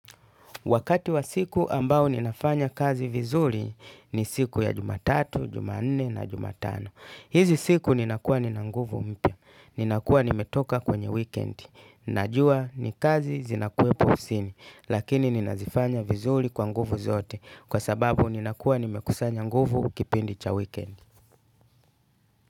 Wakati wa siku ambao ninafanya kazi vizuli ni siku ya jumatatu, jumanne na jumatano. Hizi siku nina kuwa nina nguvu mpya. Nina kuwa nimetoka kwenye weekend. Najua ni kazi zinakuepo ofsini. Lakini nina zifanya vizuli kwa nguvu zote. Kwa sababu nina kuwa nimekusanya nguvu kipindi cha weekend.